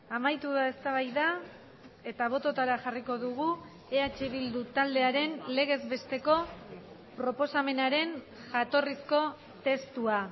amaitu da eztabaida eta bototara jarriko dugu eh bildu taldearen legez besteko proposamenaren jatorrizko testua